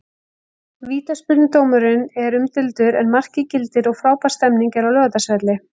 Vítaspyrnudómurinn er umdeildur en markið gildir og frábær stemning er á Laugardalsvelli.